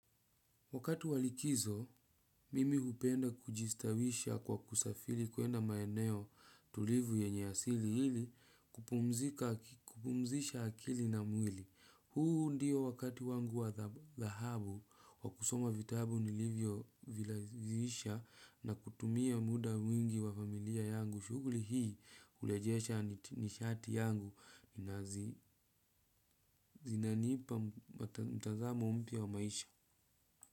Wakati wa likizo, mimi hupenda kujistawisha kwa kusafiri kuenda maeneo tulivu yenye asili ili kupumzika kupumzisha akili na mwili. Huu ndio wakati wangu wa thahabu wakusoma vitabu nilivyo vilazihisha na kutumia muda mwingi wa familia yangu. Shughuli hii hurejesha nishati yangu na zinanipa mtazamo mpya wa maisha.